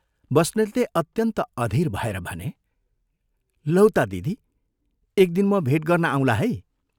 बस्नेतले अत्यन्त अधीर भएर भने, "लौ ता दिदी, एक दिन म भेट गर्न आउँला है।